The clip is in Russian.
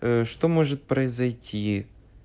что может произойти